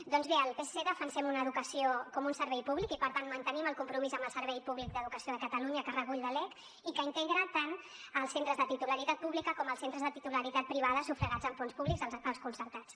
doncs bé el psc defensem una educació com un servei públic i per tant mantenim el compromís amb el servei públic d’educació de catalunya que recull la lec i que integra tant els centres de titularitat pública com els centres de titularitat privada sufragats amb fons públics els concertats